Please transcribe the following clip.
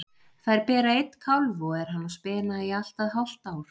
Þær bera einn kálf og er hann á spena í allt að hálft ár.